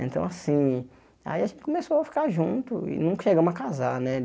Então, assim, aí a gente começou a ficar junto e nunca chegamos a casar, né?